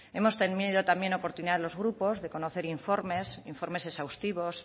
hemos tenido también oportunidad los grupos de conocer informes informes exhaustivos